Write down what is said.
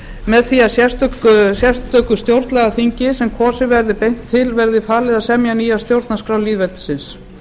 með því að sérstöku stjórnlagaþingi sem kosið verði beint til verði falið að semja nýja stjórnarskrá lýðveldisins